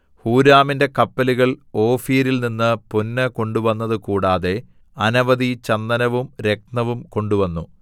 ഹൂരാമിന്റെ കപ്പലുകൾ ഓഫീരിൽ നിന്ന് പൊന്ന് കൊണ്ടുവന്നതുകൂടാതെ അനവധി ചന്ദനവും രത്നവും കൊണ്ടുവന്നു